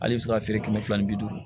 Ale bɛ se ka feere kɛmɛ fila ni bi duuru